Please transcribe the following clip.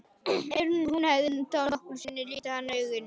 Ef hún hafði þá nokkru sinni litið hann augum.